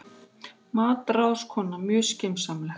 MATRÁÐSKONA: Mjög skynsamlegt.